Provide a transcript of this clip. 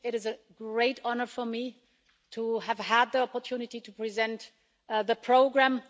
It is a great honour for me to have had the opportunity to present the programme.